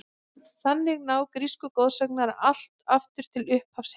Þannig ná grísku goðsagnirnar allt aftur til upphafs heimsins.